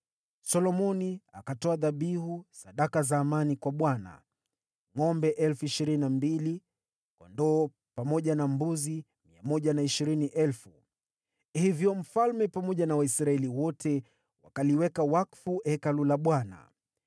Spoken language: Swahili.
Solomoni akatoa dhabihu sadaka za amani kwa Bwana : ngʼombe 22,000, pamoja na kondoo na mbuzi 120,000. Hivyo ndivyo mfalme na Waisraeli wote walivyoweka wakfu Hekalu la Bwana .